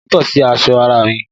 Aáyán tọ̀ sí ara aṣọ mi